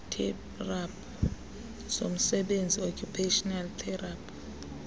zomsebenzi occupational therapy